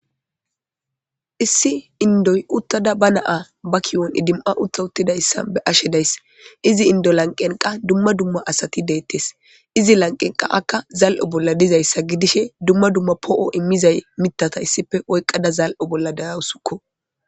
Issi inddoy uththada ba na7aa ba kiyuwan idim7a uththawuththida issa be7ashe de7ays; izi inddo lanqqen qa dumma dumma asathi deeththes; izi lanqqenkka qa akka zal7iyo bolla dizayssa gidishee dumma dumma poo7uwa immiza miththatha issippe oyqqada zal7o bolla de7awusukoo.